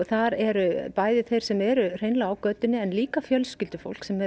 þar er bæði þeir sem eru hreinlega á götunni en líka fjölskyldufólk sem